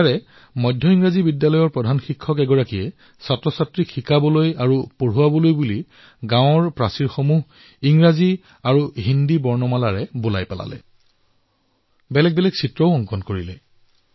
ইয়াত মাধ্যমিক বিদ্যালয়ৰ এগৰাকী অধ্যক্ষই শিশুক পঢ়োৱাৰ বাবে গাঁৱৰ দেৱালসমূহ ইংৰাজী আৰু হিন্দী আখৰেৰে অংকিত কৰিলে লগতে তাত বিভিন্ন চিত্ৰৰেও সজ্বিত কৰিলে